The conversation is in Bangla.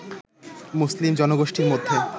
মুসলিম জনগোষ্ঠীর মধ্যে